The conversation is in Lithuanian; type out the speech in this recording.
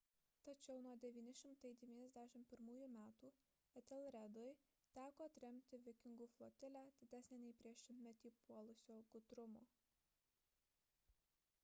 tačiau 991 m etelredui teko atremti vikingų flotilę didesnę nei prieš šimtmetį puolusio gutrumo